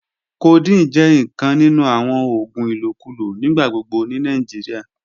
Codeine jẹ nkan ninu awon oògùn ilokulo nigbagbogbo ni Nigeria.